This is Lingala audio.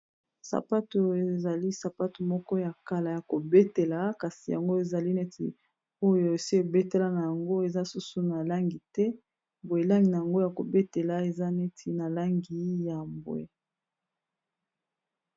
Sapatu oyo ezali sapatu moko ya kala ya kobetela kasi yango ezali neti oyo esi ebetela na yango eza susu na langi te boye langi na yango ya kobetela eza neti na langi ya mbwe.